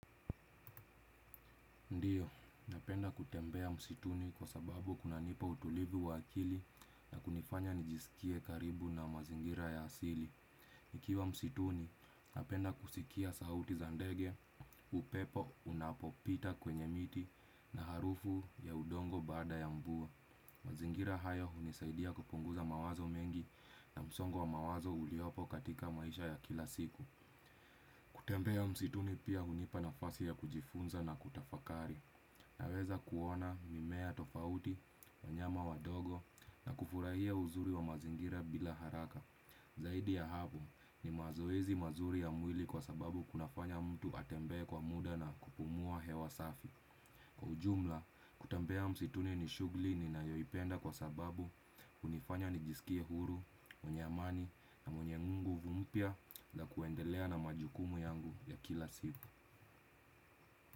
Ndiyo, napenda kutembea msituni kwa sababu kuna nipa utulivi wa akili na kunifanya nijisikie karibu na mazingira ya asili. Nikiwa msituni, napenda kusikia sauti za ndege, upepo, unapopita kwenye miti na harufu ya udongo baada ya mvua. Mazingira haya hunisaidia kupunguza mawazo mengi na msongo wa mawazo uliopo katika maisha ya kila siku. Kutembea msituni pia hunipa nafasi ya kujifunza na kutafakari. Naweza kuona mimea tofauti, wanyama wadogo na kufurahia uzuri wa mazingira bila haraka. Zaidi ya hapo ni mazoezi mazuri ya mwili kwa sababu kunafanya mtu atembe kwa muda na kupumua hewa safi. Kwa ujumla, kutembea msituni ni shughuli ni nayoipenda kwa sababu unifanya nijisikie huru, mwenye amani na mwenye nguvu mpya la kuendelea na majukumu yangu ya kila siku.